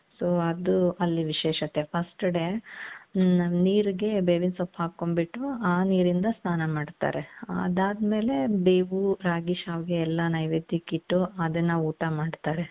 so ಅದು ಅಲ್ಲಿ ವಿಶೇಷತೆ first day ಹ್ಮ್ ನೀರಿಗೆ ಬೇವಿನಸೊಪ್ಪು ಹಾಕೊಂಡ್ ಬಿಟ್ಟು ಆ ನೀರಿಂದ ಸ್ನಾನ ಮಾಡ್ತಾರೆ ಅದಾದಮೇಲೆ ಬೇವು ರಾಗಿ ಶ್ಯಾವಿಗೆ ಎಲ್ಲಾ ನೈವೇದ್ಯಕ್ಕಿಟ್ಟು ಅದನ್ನ ಊಟ ಮಾಡ್ತಾರೆ .